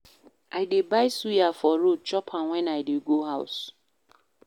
I dey buy suya for road, chop am wen I dey go house.